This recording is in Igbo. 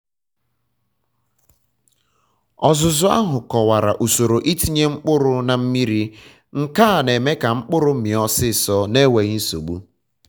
ọzụzụ ahụ kọwara usoro ịtinye mkpụrụ na mmiri nke a na-eme ka mkpụrụ mịa ọsịsọ na-enweghi nsogbu